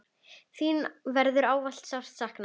Þín verður ávallt sárt saknað.